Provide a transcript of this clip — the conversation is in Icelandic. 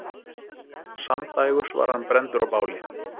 Samdægurs var hann brenndur á báli.